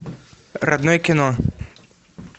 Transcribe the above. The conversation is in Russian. родное кино